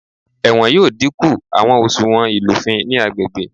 Ẹwọn yoo dinku awọn oṣuwọn ilufin ni agbegbe.